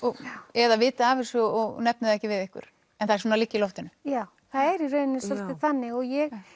eða viti af þessu og nefni það ekki við ykkur en það svona liggi í loftinu já það er svolítið þannig og ég